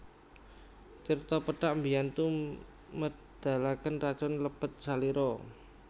Tirta pethak mbiyantu medhalaken racun lebet salira